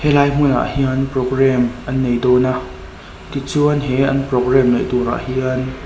helai hmunah hian programme an nei dâwn a tichuan he an programme neih tur ah hian.